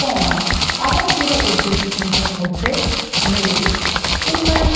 comma এবং আবার জোড়া উদ্ধৃতিচিনহের মধ্যে negetive